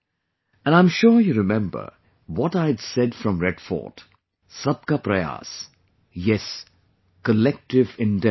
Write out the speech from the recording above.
And I'm sure you remember what I had said from Red Fort, "Sabka Prayas"...Yes...collective endeavour